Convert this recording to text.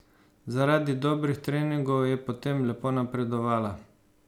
Zaradi dobrih treningov je potem lepo napredovala.